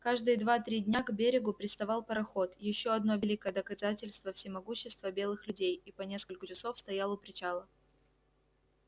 каждые два три дня к берегу приставал пароход ещё одно великое доказательство всемогущества белых людей и по нескольку часов стоял у причала